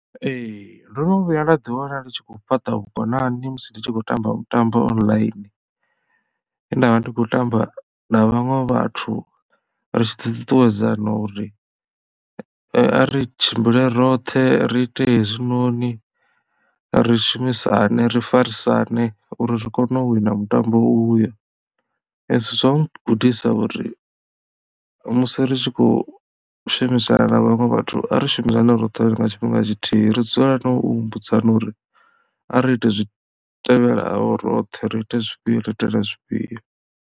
Ee ndono vhuya nda ḓi wana ndi tshi khou fhaṱa vhukonani musi ndi tshi khou tamba mutambo online he ndavha ndi kho tamba na vhaṅwe vhathu ri tshi ṱuṱuwedzana uri a ri tshimbile roṱhe ri ite hezwi noni ri shumisane ri farisane uri ri kone u wina mutambo uyo. Hezwi zwa ri gudisa uri musi ritshi kho shumisana na vhaṅwe vhathu a ri shumisane roṱhe nga tshifhinga tshithihi ri dzulelane u humbudzana uri ari ite zwi tevhelaho roṱhe ri ite zwifhio ri ite na zwifhio.